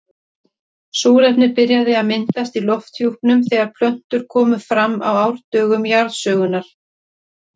Súrefni byrjaði að myndast í lofthjúpnum þegar plöntur komu fram á árdögum jarðsögunnar.